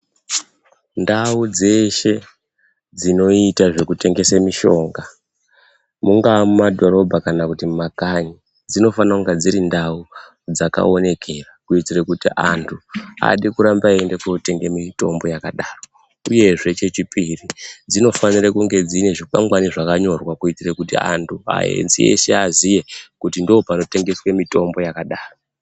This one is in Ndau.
Ndau dzeshe dzinoita zvekutengesa mushonga mungava mumadhorobha kana mumakanyi dzinofana kunga dziri ndau dzakaonekera kuitira kuti vantu varambe zveitenga mutombo yakadaro uyezve chechipiri dzinofanira kunga dzine chikwangwani chakanyorwa kuti vantu eshe aziye kuti ndipo panotengeswe mutombo yakadaro.